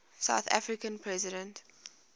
south african president